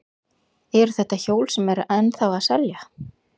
Eru þetta hjól sem eru ennþá að selja?